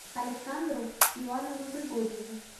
александру ивановну григорьеву